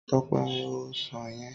Tọ́pẹ́ máa ó ọsàn yẹn.